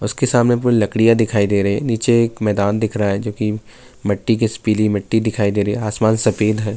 اسکے سامنے پوری لکڈیا دکھائی دے رہی ہے۔ نیچے ایک میدان دیکھ رہا ہے جو کی متی کے، پیلی متی دکھائی دے رہی ہے۔ آسمان سفید ہے۔